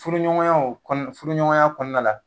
Furu ɲɔgɔnyaw kɔnɔ , furu ɲɔgɔnya kɔnɔna la